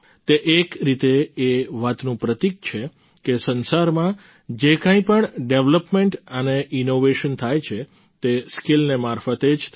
તે એક રીતે એ વાતનું પ્રતિક છે કે સંસારમાં જે કંઈ પણ ડેવેલપમેન્ટ અને ઈનોવેશન થાય છે તે સ્કિલને મારફતે જ થાય છે